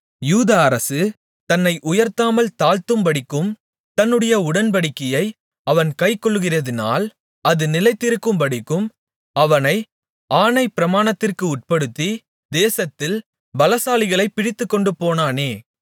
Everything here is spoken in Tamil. யூத அரசு தன்னை உயர்த்தாமல் தாழ்ந்திருக்கும்படிக்கும் தன்னுடைய உடன்படிக்கையை அவன் கைக்கொள்ளுகிறதினால் அது நிலைநிற்கும்படிக்கும் அவனை ஆணைப்பிரமாணத்திற்கு உட்படுத்தி தேசத்தில் பலசாலிகளைப் பிடித்துக்கொண்டுபோனானே